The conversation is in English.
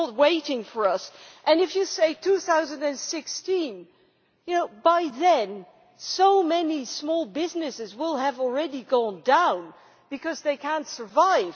It is not waiting for us, and if you say 2016, well by then so many small businesses will have gone down already because they cannot survive.